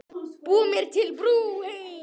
Búa mér til brú heim.